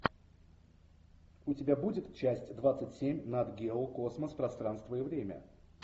у тебя будет часть двадцать семь нат гео космос пространство и время